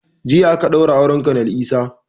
Jiya aka ɗaura auren konel Isah